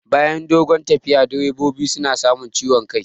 Bayan dogon tafiya direbobi suna samun ciwon kai